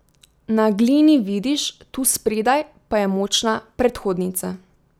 Na Glini, vidiš, tu spredaj, pa je močna predhodnica.